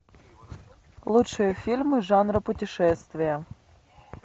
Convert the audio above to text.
лучшие фильмы жанра путешествия